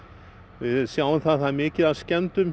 við sjáum að það verður mikið af skemmdum